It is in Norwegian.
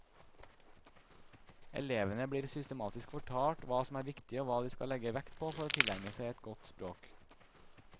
Elevene blir systematisk fortalt hva som er viktig og hva de skal legge vekt på for å tilegne seg et godt språk.